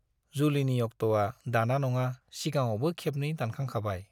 जुलिनि उक्ट'आ दाना नङा सिगाङावबो खेबनै दानखांखाबाय।